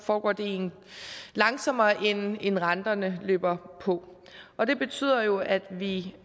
foregår det langsommere end renterne løber på og det betyder jo at vi